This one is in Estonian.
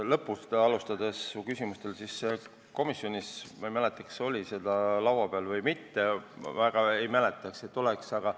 Lõpust alustades ütlen, et ma ei mäleta, kas komisjonis see oli laua peal või mitte, ma väga ei mäleta, et oleks olnud.